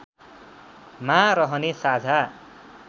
मा रहने साझा